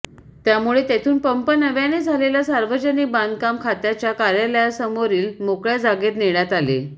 त्यामुळे तेथून पंप नव्याने झालेल्या सार्वजनिक बांधकाम खात्याच्या कार्यालयासमोरील मोकळ्या जागेत नेण्यात आले